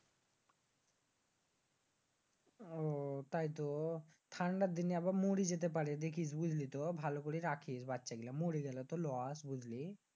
আহ তাইতো? ঠান্ডার দিনে আবার মরে যেতে পাড়ে দেখিস বুঝলিতো? ভালো করে রাখিস বাচ্চাগুলো মরে গেলে তো আবার loss বুঝলি?